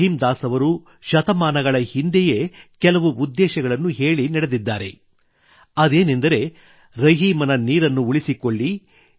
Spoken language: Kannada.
ರಹೀಂ ದಾಸ್ ಅವರು ಶತಮಾನಗಳ ಹಿಂದೆಯೇ ಕೆಲವು ಉದ್ದೇಶಗಳನ್ನು ಹೇಳಿ ನಡೆದಿದ್ದಾರೆ ಅದೇನೆಂದರೆ ರಹೀಮನ ನೀರನ್ನು ಉಳಿಸಿಕೊಳ್ಳಿ